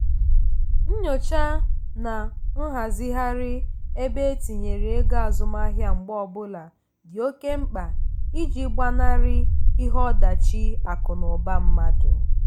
nyocha na nghazigharị ebe etinyere ego azụmahịa mgbe ọbụla dị oke mkpa iji gbanarị ihe ọdachi akụ na ụba mmadụ.